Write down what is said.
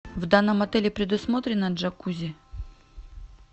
в данном отеле предусмотрено джакузи